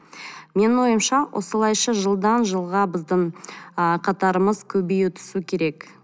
менің ойымша осылайша жылдан жылға біздің ы қатарымыз көбейе түсу керек